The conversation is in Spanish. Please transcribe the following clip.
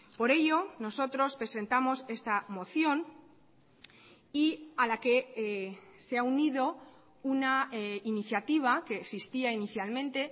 por ello nosotros presentamos esta moción y a la que se ha unido una iniciativa que existía inicialmente